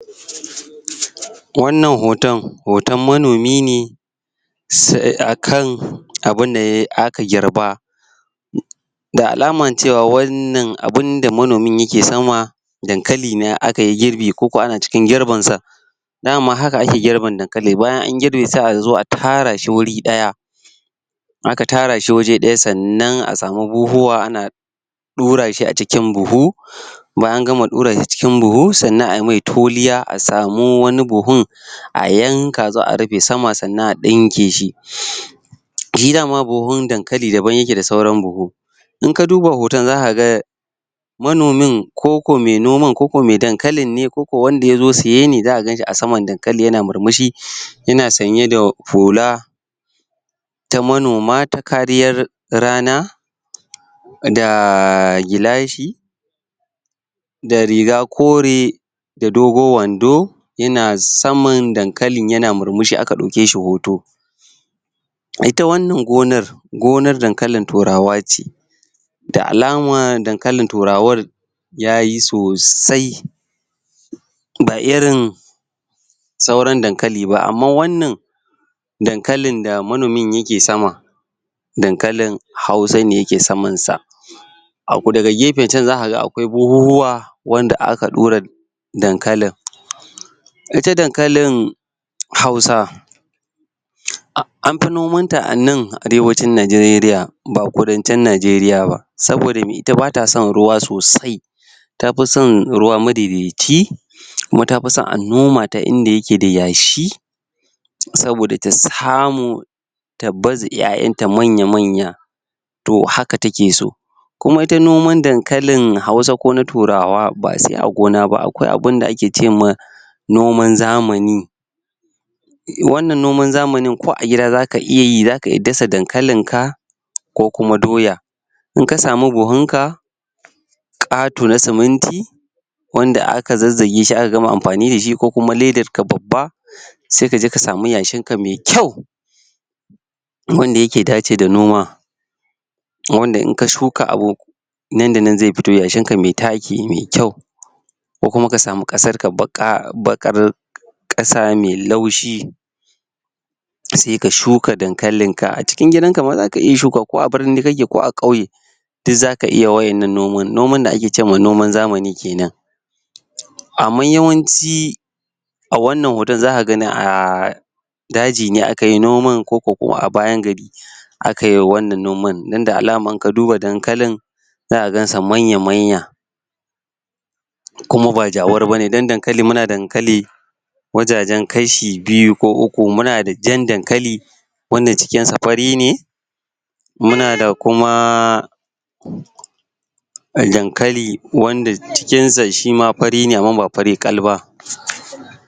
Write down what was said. Wannan hoton, hoton manomi ne akan abun da aka girba da alama cewa wannan abun da manomin yake dankali ne akayi girbi ko kuma ana cikin girbin sa daman hakan ake girban dankali, bayan an girbe sai a zo a tara shi wuri daya aka tara shi waje daya sanan a samu bobowa ana dura shi a cikin buhu bayan an gama dura shi cikin buhu sannan a mai toliya a samu wani buhun a yanka a zo a rabe sama sannan a dinke shi shi dama buhun dankali daban yake da sauran buhu inka duba hoton za ka ga manomin ko kuma me noman ko kuma me dankalin ne koko wanda ya zo seye za a ganshi a saman dankali yana murmushi, yana sanye da fula ta manoma ta kariyar rana da gilashi da riga kore da dogon wando yana saman dankalin yana murmushi aka dauke shi hoto Ita wannan gonar, gonan dankalin turawa ce da alama dankalin turawar yayi sosai ba irin sauran dankali ba, amma wannan dankalin da manomi yake sama dankalin hausa ne yake saman sa abu daga gefen can za a ga akwai buhuhuwa wanda aka dura dankalin. ita dankalin, hausa an fi noman ta a nan arewacin Najeriya ba kudancin Najeriya ba, saboda ita bata son ruwa sosai tafi son ruwa kuma ta fi son a noma ta inda yake da yashi saboda ta samu ta baze iyaiyan ta manya manya toh haka take so kuma ita noman dankalin na hausa ko na turawa ba se a gona ba, akwai abun da ake ce ma noman zamani wannan noman zamani ko a gida zaka iya yi, zaka iya dasa dankalin ka ko kuma doya inka samu buhun ka, kato na ceminti wanda aka zazage shi aka gama amfani da shi ko kuma ledar ka babba sai ka je ka samu yashin ka me kyau wanda yake dace da noma wanda in ka shuka abu nan da nan ze fito, yashin ka me taki me kyau ko kuma ka samu kasar ka baka, bakar kasa me laushi sai ka shuka dankalin ka, a cikin gidan ka ma zaka iya shuka ko a birni kake ko a kauye duk zaka iya wadannan noman, noman da ake ce noman zamani kenan Amma yawanci A wannan hoto zaka gani a daji ne aka yi noman ko ko a bayan gari akayi wannan noman ida alaman ka duba dankalin zaka gan sa manya manya kuma ba jawar bane don dankali, muna dankali wajajen kashi biyu ko uku, muna da jan dankali wanda cikin sa fari ne muna da kuma